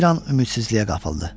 Bir an ümidsizliyə qapıldı.